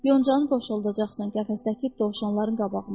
Yoncani boşaldacaqsan qəfəsdəki dovşanların qabağına.